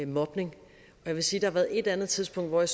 mobning jeg vil sige at der et andet tidspunkt hvor jeg